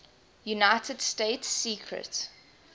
united states secret